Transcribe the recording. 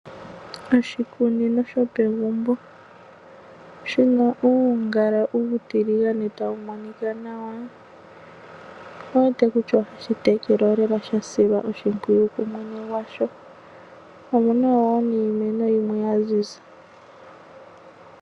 Oshikunino shopegumbo, Shina ungala utilingane tamumonika nawa, owuwete kutya ohashitekelwa lela shasilwa oshipwiyu kumwene ngwasho omuna wo niimeno yimwe yanzinza.